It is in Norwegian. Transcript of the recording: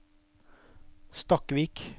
Stakkvik